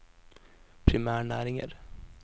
primærnæringer